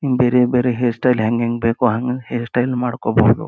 ಬೇರೆ ಬೇರೆ hair style ಹೆಂಗೆಂಗ್ ಬೇಕು ಹಂಗಂಗ್ ಹೇರ್ ಸ್ಟೈಲ್ ಮಾಡ್ಕೋಬಹುದು.